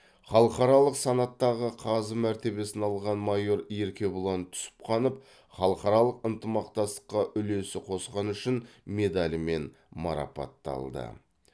халықаралық санаттағы қазы мәртебесін алған майор еркебұлан түсіпханов халықаралық ынтымақтастыққа үлесі қосқаны үшін медалімен марапатталды